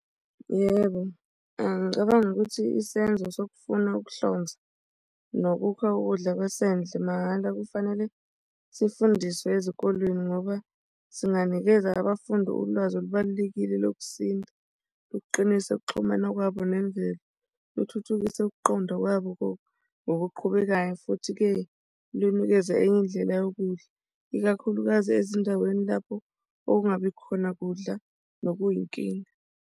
Yebo, angicabangi ukuthi isenzo sokufuna ukuhlonza nokukha ukudla kwasendle mahhala kufanele sifundiswe ezikolweni ngoba singanikeza abafundi ulwazi olubalulekile lokusinda luqinisa ukuxhumana kwabo nemvelo kuthuthukisa ukuqonda kwabo ngokuqhubekayo, futhi-ke lunikeza enye indlela yokudla ikakhulukazi ezindaweni lapho okungabi khona kudla nokuyinkinga.